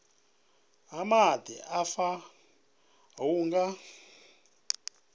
ha maḓi afha hu nga